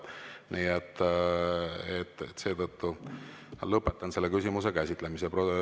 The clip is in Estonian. Nii et seetõttu lõpetan selle küsimuse käsitlemise.